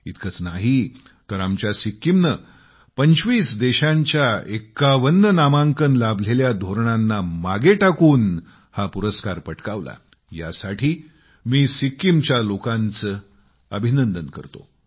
इतकच नाही तर आमच्या सिक्किमने 25 देशांच्या 51 नामांकन लाभलेल्या धोरणांना मागे टाकून हा पुरस्कार पटकावला यासाठी मी सिक्कीमच्या लोकांचे अभिनंदन करतो